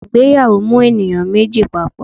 Ìgbéyàwó mú eníyan mejí papọ